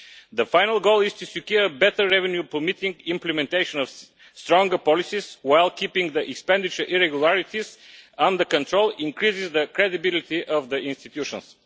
The final goal is to secure better revenue permitting the implementation of stronger policies, while keeping the irregularities in expenditure under control increases the credibility of the institutions.